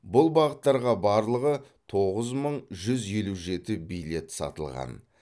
бұл бағыттарға барлығы тоғыз мың жүз елу жеті билет сатылған